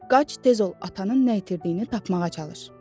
Qaç, tez ol, atanın nə itirdiyini tapmağa çalış.